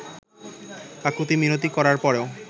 কাকুতি মিনতি করার পরেও